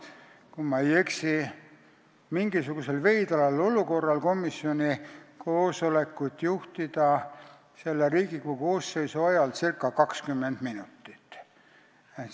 Kui ma ei eksi, siis mingisuguses veidras olukorras sain ma komisjoni koosolekut juhtida selle Riigikogu koosseisu ajal circa 20 minutit.